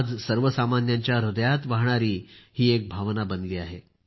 आज सर्वसामान्यांच्या हृदयात वाहणारी ही एक भावना बनली आहे